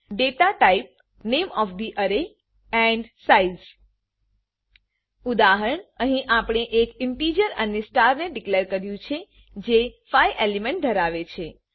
data type નામે of the array and size ઉદાહરણઅહી આપણે એક ઈંટીજર અરે સ્ટારને ડીકલેર કર્યું છે જે 5 એલિમેન્ટ ધરાવે છે